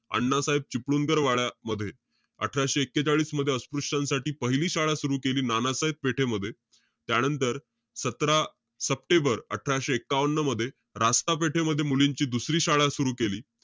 अण्णासाहेब चिपळूणकर वाड्यामध्ये. अठराशे एक्केचाळीसमध्ये अस्पृश्यांसाठी पहिली शाळा सुरु केली नानासाहेब पेठेमध्ये. त्यानंतर, सतरा सप्टेंबर अठराशे एकावन्न मध्ये, रास्ता पेठेमध्ये मुलींची दुसरी शाळा सुरु केली.